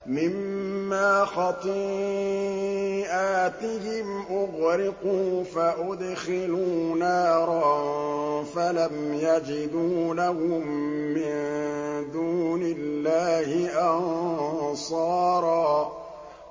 مِّمَّا خَطِيئَاتِهِمْ أُغْرِقُوا فَأُدْخِلُوا نَارًا فَلَمْ يَجِدُوا لَهُم مِّن دُونِ اللَّهِ أَنصَارًا